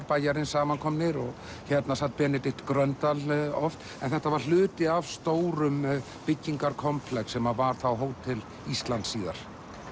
bæjarins saman komnir hérna sat Benedikt Gröndal oft en þetta var hluti af stórum byggingakomplex sem var Hótel Ísland síðar